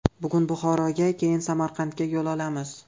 Bugun Buxoroga, keyin Samarqandga yo‘l olamiz.